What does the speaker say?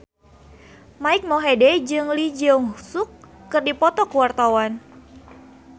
Mike Mohede jeung Lee Jeong Suk keur dipoto ku wartawan